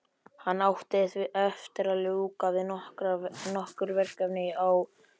Hann átti eftir að ljúka við nokkur verkefni á skrifstofunni.